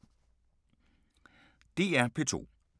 DR P2